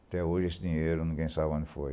Até hoje esse dinheiro ninguém sabe onde foi.